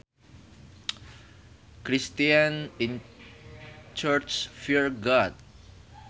Christians in churches fear God